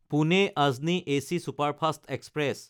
পুনে–আজনী AC superfast express